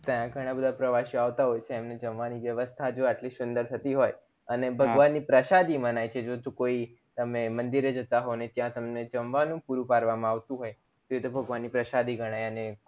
ત્યાં ઘણા બધા પ્રવાશીયો આવતા હોય છે એમને જમવાની વ્યસ્થા જો એટલી સુંદર થથી હોય અને ભગવાનની પ્રશાદી મનાય છે કોઈ તમે મંદિર એ જતા હોવ અને ત્યાં તમને જમવાનું પૂરું પાડવામાં આવતું હોય તો એ તો ભગવાનની પ્રશાળી ગણાય અને ખુબ